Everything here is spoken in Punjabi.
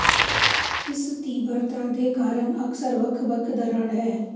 ਇਸ ਤੀਬਰਤਾ ਦੇ ਕਾਰਨ ਅਕਸਰ ਵੱਖ ਵੱਖ ਦਰਾੜ ਹੈ